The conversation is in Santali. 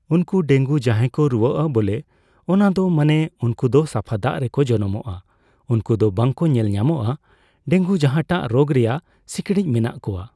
ᱩᱱᱠᱩ ᱰᱮᱝᱜᱩ ᱡᱟᱸᱦᱟᱭ ᱠᱚ ᱨᱩᱣᱟᱹᱜᱼᱟ ᱵᱚᱞᱮ ᱚᱱᱟ ᱫᱚ ᱢᱟᱱᱮ ᱩᱱᱠᱩ ᱫᱚ ᱥᱟᱯᱷᱟ ᱫᱟᱜ ᱨᱮᱠᱚ ᱡᱟᱱᱟᱢᱚᱜᱼᱟ ᱩᱱᱠᱩ ᱫᱚ ᱵᱟᱠᱚ ᱧᱮᱞᱧᱟᱢᱚᱜᱼᱟ ᱾ ᱰᱮᱝᱜᱩ ᱡᱟᱸᱦᱟᱴᱟᱜ ᱨᱳᱜ ᱨᱮᱭᱟᱜ ᱥᱤᱠᱲᱤᱡ ᱢᱮᱱᱟᱜ ᱠᱚᱣᱟ ᱾